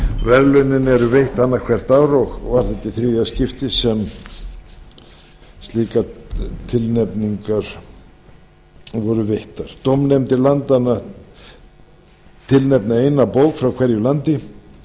verðlaunin eru veitt annað hvort ár og var þetta í þriðja skipti sem slíkar tilnefningar voru veittar dómnefndir landanna tilnefna eina bók frá hverju landi